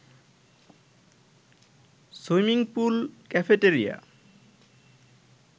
swimming pool, cafeteria